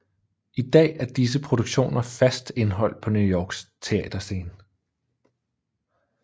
I dag er disse produktioner fast indhold på New Yorks teaterscene